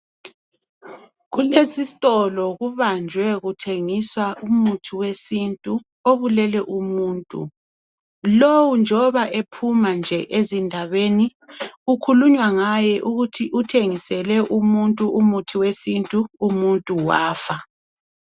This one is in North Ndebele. Kulesisitolo kubanjwe kuthengiswa umuthi wesintu obulele umuntu. Lowu njoba ephuma nje ezindabeni kukhulunywa ngaye ukuthi uthengisele umuntu umuthi wesintu umuntu wafa